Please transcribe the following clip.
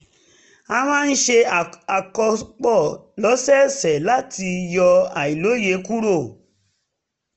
a máa ń ṣe àkópọ̀ lọ́sọ̀ọ̀sẹ̀ láti yọ àìlòye kúrò